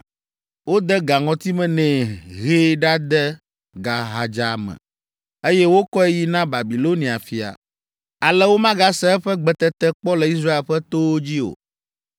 Wode ga ŋɔtime nɛ, hee ɖade gaxadza me, eye wokɔe yi na Babilonia fia. Ale womegase eƒe gbetete kpɔ le Israel ƒe towo dzi o.